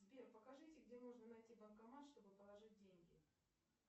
сбер покажите где можно найти банкомат чтобы положить деньги